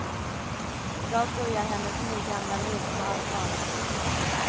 I dag börjar hennes nygamla liv på allvar.